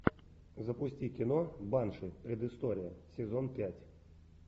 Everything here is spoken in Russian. запусти кино банши предыстория сезон пять